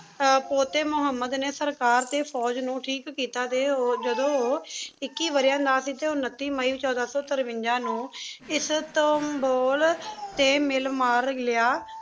ਪੋਤੇ ਮੁਹਮ੍ਮਦ ਨੇ ਸਰਕਾਰ ਤੇ ਫੋਜ ਨੂ ਠੀਕ ਕੀਤਾ ਤੇ ਓ ਜਦੋ ਓਹ ਇਕਿ ਵਾਰੀਆਂ ਸੇ ਟੀ ਉਨਤੀ ਮਈ ਛੋਡਾ ਸੋ ਤਰਵੰਜਾ ਨੂ ਇਸ੍ਤਾੰਬੁਲ ਟੀ ਮਿਲ ਮਾਰ ਲਯਾ